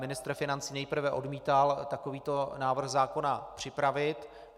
Ministr financí nejprve odmítal takovýto návrh zákona připravit.